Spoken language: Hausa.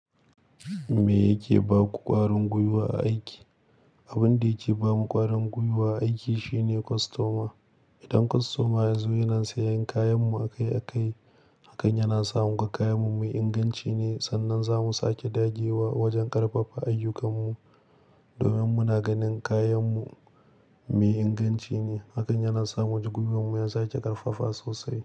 Me yake ba ku ƙwarin gwiwa a aiki? Abin da yake ba mu ƙwarin gwiwa a aiki shine kostoma. Idan kostoma ya zo yana sayan kayan mu a kai a kai, hakan yana sa mu ga kayan mu mai inganci ne. Sannan za mu sake dage wa wajen ƙarfafa ayyukan mu. Domin muna ganin kayan mu mai inganci ne, hakan yana sa mu ji gwiwarmu ya sake ƙarfafa sosai.